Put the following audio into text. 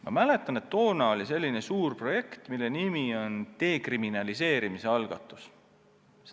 Ma mäletan, et toona oli käsil suur projekt, mille nimi oli dekriminaliseerimise algatus.